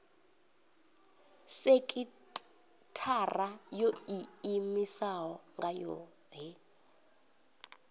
sekithara yo iimisaho nga yohe